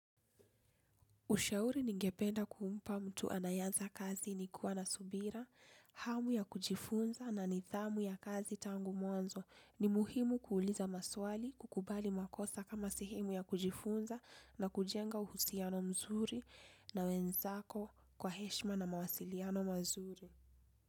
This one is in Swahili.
Ushauri ningependa kumpa mtu anayeanza kazi ni kuwa na subira, hamu ya kujifunza na nidhamu ya kazi tangu mwanzo. Ni muhimu kuuliza maswali, kukubali makosa kama sehemu ya kujifunza na kujenga uhusiano mzuri na wenzako kwa heshima na mawasiliano mzuri.